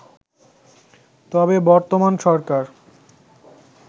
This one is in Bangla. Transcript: তবে বর্তমান সরকার